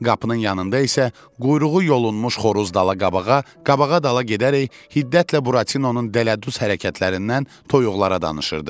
Qapının yanında isə quyruğu yolunmuş xoruz dala-qabağa, qabağa-dala gedərək hiddətlə Buratinonun dələduz hərəkətlərindən toyuqlara danışırdı.